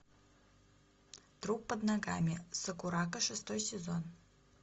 труп под ногами сакурако шестой сезон